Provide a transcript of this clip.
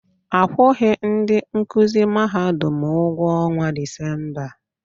Akwughi ndị nkụzi Mahadum ụgwọ ọnwa Disemba.